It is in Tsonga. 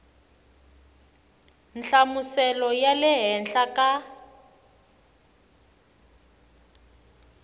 nhlamuselo ya le henhla ka